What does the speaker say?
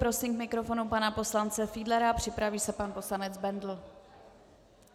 Prosím k mikrofonu pana poslance Fiedlera, připraví se pan poslanec Bendl.